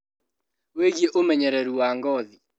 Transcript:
Wĩgiĩ ũmenyereru wa ngothi